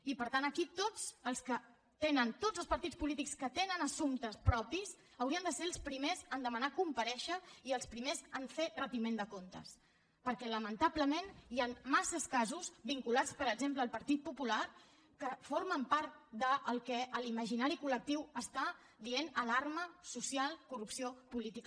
i per tant aquí tots els partits polítics que tenen assumptes propis haurien de ser els primers a demanar comparèixer i els primers a fer retiment de comptes perquè lamentablement hi han massa casos vinculats per exemple al partit popular que formen part del que l’imaginari col·lectiu en diu alarma social corrupció política